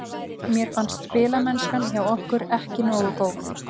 Mér fannst spilamennskan hjá okkur ekki nógu góð.